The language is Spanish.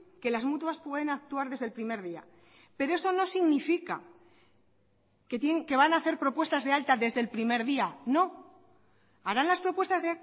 que las mutuas pueden actuar desde el primer día pero eso no significa que van a hacer propuestas de alta desde el primer día no harán las propuestas